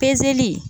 Pezeli